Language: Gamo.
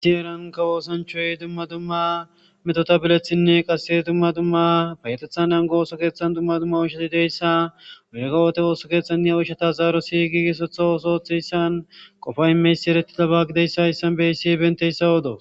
Issi heranka oosanchchoy dumma dumma metotta bileththinne qasse dumma dumma payetethan nango ooso keeththan dumma dumma oyshshati deiyayssa yehoo woode ooso keeththan de'iya uoyshshata zaaroti giigissooththo osoo ooththizayssan qofa imiyayssi erettidabba gididayssa hayssan be'assi bentayssa oodawus